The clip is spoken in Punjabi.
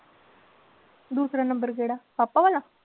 ਦੂਸਰਾ number ਕਿਹੜਾ ਪਾਪਾ ਵਾਲਾ?